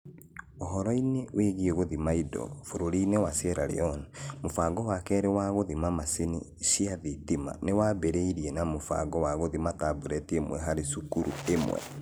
Ũhoro-inĩ wĩgiĩ gũthima indo, bũrũri-inĩ wa Sierra Leone, mũbango wa kerĩ wa gũthima macini cia thitima nĩ waambĩrĩirie na mũbango wa gũthima tablet ĩmwe harĩ cukuru ĩmwe.